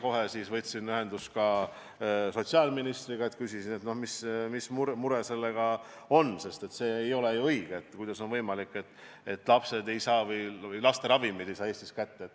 Kohe seejärel võtsin ühendust sotsiaalministriga ja küsisin, mis mure sellega on, sest nii ei ole ju õige, et kuidas on võimalik, et laste ravimeid ei saa Eestis kätte.